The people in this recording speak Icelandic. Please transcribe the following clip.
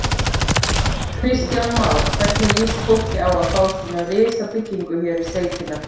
Kristján Már: Hvernig líst fólki á að fá svona risabyggingu hér í sveitina?